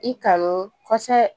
I kanu kosɛbɛ